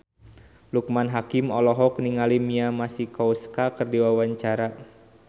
Loekman Hakim olohok ningali Mia Masikowska keur diwawancara